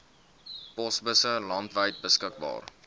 posbusse landwyd beskikbaar